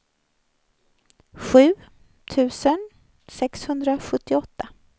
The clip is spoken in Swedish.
sju tusen sexhundrasjuttioåtta